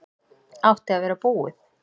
Átti að vera búið